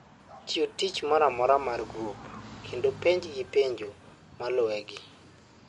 chiw tich mora mora mar grup kendo penj gi penjo malue gi